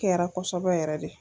Kɛra kosɔbɛ yɛrɛ dɛ.